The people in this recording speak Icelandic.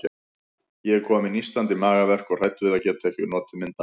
Ég er komin með nístandi magaverk og hrædd við að geta ekki notið myndanna.